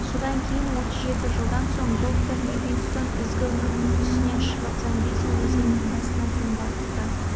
содан кейін отыз жеті жылдан соң доктор ливингстон ізгі үміт мүйісінен шығып замбези өзенінің басына дейін барыпты